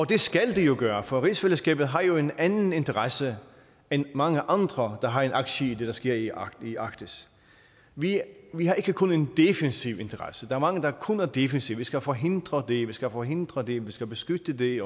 det skal det jo gøre for rigsfællesskabet har jo en anden interesse end mange andre der har en aktie i det der sker i arktis vi har ikke kun en defensiv interesse der er mange der kun er defensive vi skal forhindre det vi skal forhindre det vi skal beskytte det